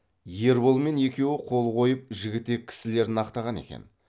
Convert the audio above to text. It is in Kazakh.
ерболмен екеуі қол қойып жігітек кісілерін ақтаған екен